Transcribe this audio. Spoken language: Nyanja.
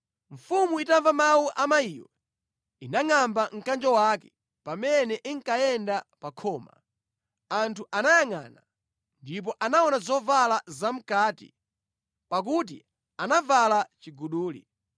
Mfumu itamva mawu a mayiyo, inangʼamba mkanjo wake. Pamene inkayenda pa khoma, anthu anayangʼana, ndipo anaona zovala zamʼkati, pakuti anavala chiguduli.